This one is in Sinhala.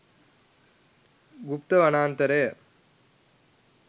ගුප්ත වනාන්තරය